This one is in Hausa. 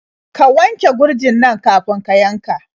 Ka wanke gurjin nan kafin ka yanka.